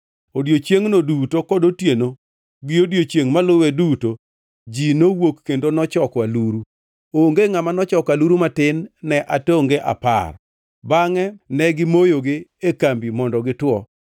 Odiechiengno duto kod otieno gi odiechiengʼ maluwe duto ji nowuok kendo nochoko aluru. Onge ngʼama nochoko aluru matin ne atonge apar. Bangʼe ne gimoyogi e kambi mondo gituo.